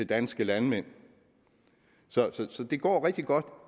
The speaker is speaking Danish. danske landmænd så det går rigtig godt